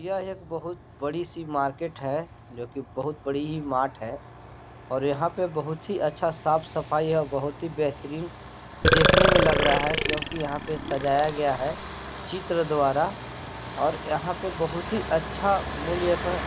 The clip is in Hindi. यह एक बहोत बड़ी सी मार्किट है जोकि बहोत बड़ी माठ है और यहाँ पे बहोत ही अच्छा साफ़ सफाई और बहोत ही बेहतरीन देखने में लग रहा है क्योंकि यहाँ पे सजाया गया है चित्र द्वारा और यहाँ पे बहुत अच्छा मूल्ये पर--